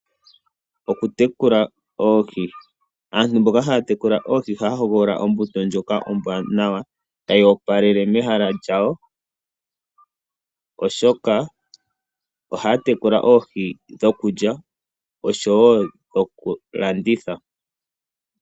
Okutekula oohi, aantu mboka ha ya tekula oohi oha ya hogolola ombuto ndjoka ombwanawa, ta yi opalele mehala lyawo. Oshoka oha ya tekula oohii dhoku lya , osho woo okulanditha.